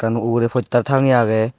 salo uguray postar tangeye aagey.